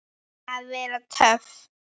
Að vera töff.